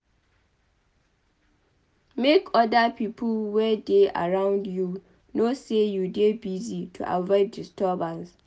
Make other pipo wey dey around you know sey you dey busy to avoid disturbance